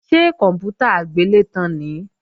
Ṣé kòǹpútà agbélétan nìí?